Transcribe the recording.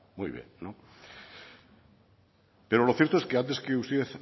muy bien pero lo cierto es que antes que usted